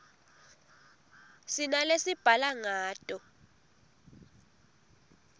sinalesibhala ngato